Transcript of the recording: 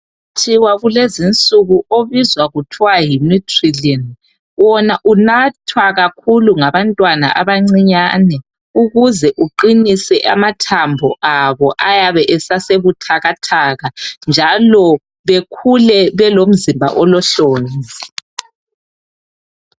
Umuthi walezi insuku obizwa kuthiwa nguNutrilin wona unathwa kakhulu ngabantwana abancinyane ukuze uqinise amathambo abo ayabe esabuthakathaka njalo bekhule belomzimba olohlonzi.